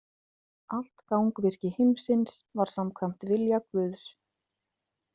Allt gangvirki heimsins var samkvæmt vilja Guðs.